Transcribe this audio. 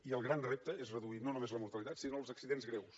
i el gran repte és reduir no només la mortalitat sinó els accidents greus